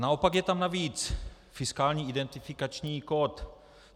Naopak je tam navíc fiskální identifikační kód.